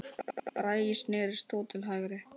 Bragi snérist þó til hægri.